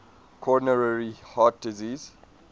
coronary heart disease